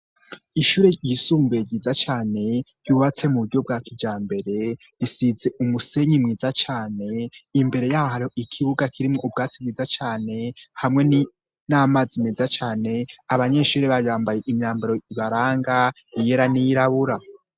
Ishure ryisumbuye ryiza cane, yubatse mu buryo bwa kijambere, risize umusenyi mwiza cane, imbere y'aho ikibuga kirimwo ubwatsi bwiza cane hamwe n'amazi meza cane, abanyeshuri bambaye imyambaro ibaranga iyera n'iyirabura.